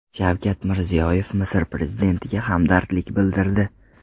Shavkat Mirziyoyev Misr prezidentiga hamdardlik bildirdi.